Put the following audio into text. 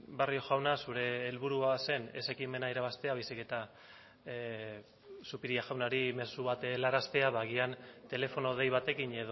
barrio jauna zure helburua zen ez ekimena irabaztea baizik eta zupiria jaunari mezu bat helaraztea ba agian telefono dei batekin